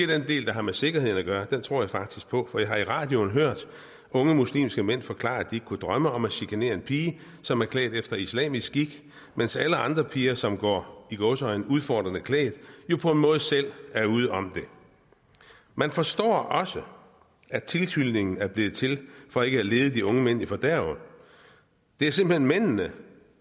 den del der har med sikkerheden at gøre tror jeg faktisk på for jeg har i radioen hørt unge muslimske mænd forklare at de ikke kunne drømme om at chikanere en pige som var klædt efter islamisk skik mens alle andre piger som går i gåseøjne udfordrende klædt jo på en måde selv er ude om det man forstår også at tilhylningen er blevet til for ikke at lede de unge mænd i fordærv det er simpelt hen mændene